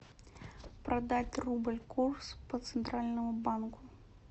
продать рубль курс по центральному банку